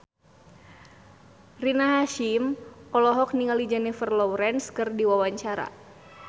Rina Hasyim olohok ningali Jennifer Lawrence keur diwawancara